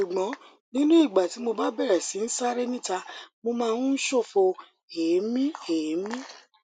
ṣùgbọn nínú ìgbà tí mo bá bẹrẹ sí ń sáré níta mo máa ń ṣòfò ẹmí ẹmí